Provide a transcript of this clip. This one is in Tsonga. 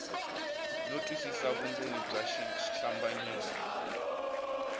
no twisisa vundzeni bya xihlambanyiso